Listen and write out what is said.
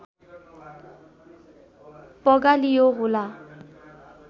पगालियो होला